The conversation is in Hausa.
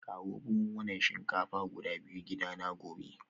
Kawo buhunan shinkafa guda biyu gidana gobe